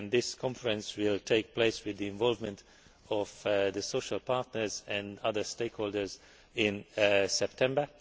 This conference will take place with the involvement of the social partners and other stakeholders in September.